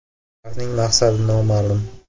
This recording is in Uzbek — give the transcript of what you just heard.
Ularning maqsadi noma’lum.